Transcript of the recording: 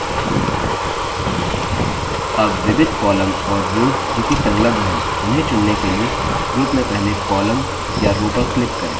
अब विविध columns और रोव्स जो कि संलग्न है उन्हें चुनने के लिए group में पहले columns या rows पर click करें